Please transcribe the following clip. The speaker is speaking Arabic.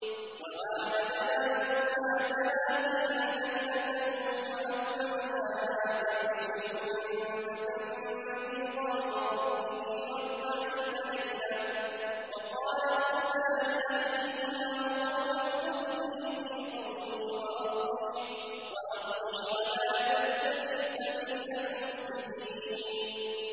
۞ وَوَاعَدْنَا مُوسَىٰ ثَلَاثِينَ لَيْلَةً وَأَتْمَمْنَاهَا بِعَشْرٍ فَتَمَّ مِيقَاتُ رَبِّهِ أَرْبَعِينَ لَيْلَةً ۚ وَقَالَ مُوسَىٰ لِأَخِيهِ هَارُونَ اخْلُفْنِي فِي قَوْمِي وَأَصْلِحْ وَلَا تَتَّبِعْ سَبِيلَ الْمُفْسِدِينَ